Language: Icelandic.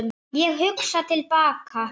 Ég hugsa til baka.